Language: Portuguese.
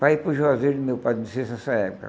para ir para o Juazeiro do meu pai nessa época.